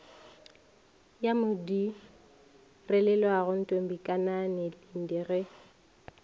ya modirelaleago ntombikanani linde ge